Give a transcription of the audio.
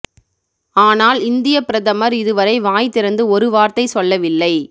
ஆனால் இந்தியப் பிரதமர் இது வரை வாய் திறந்து ஒரு வார்த்தை சொல்லவில்லை